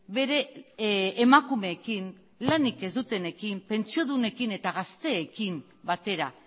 bere emakumeekin lanik ez dutenekin pentsiodunekin eta gazteekin batera